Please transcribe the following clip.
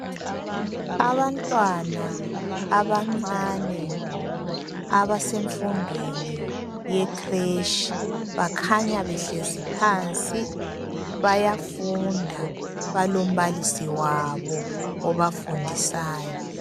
Abantwana abancane abasemfundweni ye creche bakhanya behlezi phansi bayafunda balombalisi wabo obafundisayo.